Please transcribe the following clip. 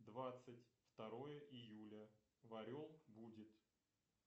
двадцать второе июля в орел будет